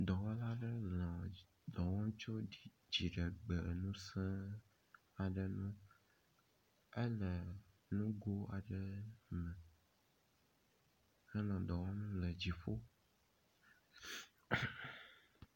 Dɔwɔla aɖewo le dɔ wɔm tso dziɖegbeŋuse aɖe ŋu hele nugo aɖe me henɔ dɔ wɔme le dziƒo.